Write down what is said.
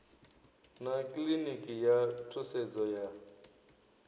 na kiḽiniki ya thusedzo ya